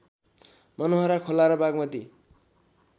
मनोहरा खोला र बागमती